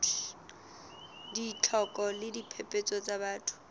ditlhoko le diphephetso tsa batho